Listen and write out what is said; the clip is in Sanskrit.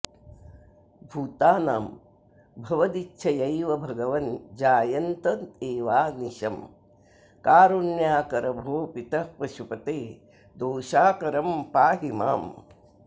भूतानां भवदिच्छयैव भगवन् जायन्त एवानिशं कारुण्याकर भोः पितः पशुपते दोषाकरं पाहि माम्